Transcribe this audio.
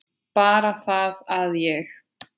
Bara það að ég.